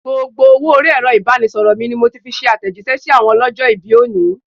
Gbogbo owó orí Ẹ̀rọ ibanisoro ni mo fi ṣe atejise sí àwọn ọlọ́jọ̀-ibi òní.